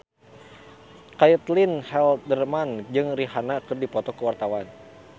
Caitlin Halderman jeung Rihanna keur dipoto ku wartawan